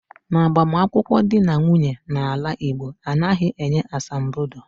N'agbamunkwu dị na nwunye na ala Igbo, anaghị enye asambodo